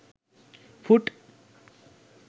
foot